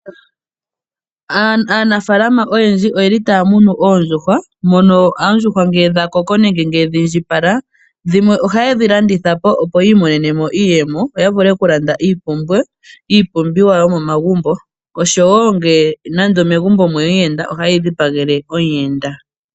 Aanafaalama oyendji oyeli taya munu oondjuhwa mono oondjuhwa ngele dhakoko nenge dhiindjipala, dhimwe ohaye dhi landithapo opo yiimonene iiyemo opo ya vule okulanda iipumbiwa yomomagumbo. Osho woo nande ngele megumbo omweya omuyenda ohaye dhi dhipagele omuyenda.